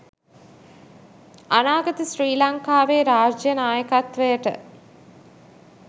අනාගත ශ්‍රී ලංකාවේ රාජ්‍ය නායකත්වයට